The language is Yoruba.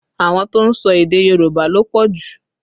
Àwọn tó ń sọ èdè Yorùbá ló pọ̀ jù